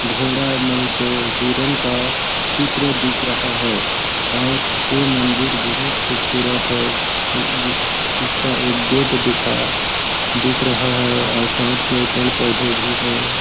घोड़ा नहीं तो हिरण का चित्र दिख रहा है और ये मंदिर बहुत खूबसूरत है इसका एक गेट दिखाया दिख रहा है और साथ में पेड़ पौधे भी हैं।